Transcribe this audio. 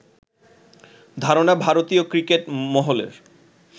ধারণা ভারতীয় ক্রিকেট মহলের